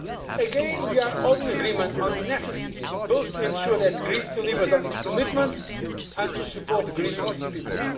Again we are all in agreement on the need both to ensure that Greece delivers on its commitments and to support Greece and its people.